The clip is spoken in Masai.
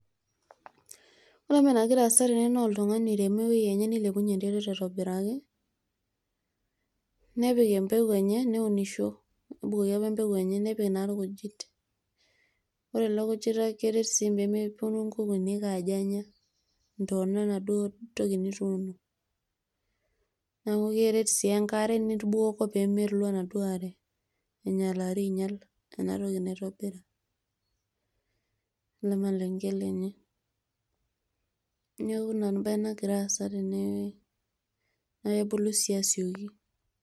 Ore enagiraa aasa tene naa oltung'ani oiremo ewueji enye neilepunyie enterit aitobiraki nepik empeku enye neunisho nebukoki apa empeku enye nebukoki irkujit ore ino kujita keret sii peemepuoni nkukunik aajo enya intona enaduoo toki nituuno neeku keret sii enkare nitubukoko peemelo enaduo are ainyialari ainyial ena toki nintobira ele malenge lenye neeku ina embaye nagira aasa tenewueji naa kebulu sii asioki.